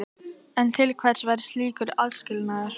En til hvers væri slíkur aðskilnaður?